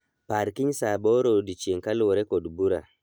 Par kiny saa aboro odiechieng' kaluwore kod bura